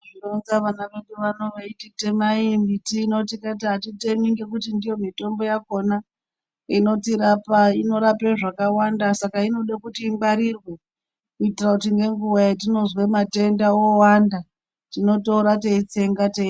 Tinozwa vana vedu vano veiti temai miti ino tikati atitemi ngekuti ndiyo mitombo yakona inotirapa inorapa zvakawanda saka inode kuti ingwarirwe kuitira kuti nenguwa yatinozwe matenda owanda tinotora teitsenga.